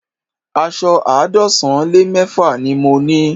Aṣọ àádọ́sán lé mẹ́fà ni mo ní